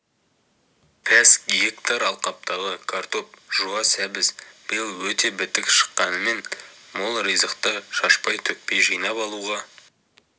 пәс гектар алқаптағы картоп жуа сәбіз биыл өте бітік шыққанымен мол ризықты шашпай-төкпей жинап алуға